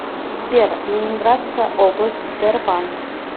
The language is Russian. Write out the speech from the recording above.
сбер ленинградская область тербанк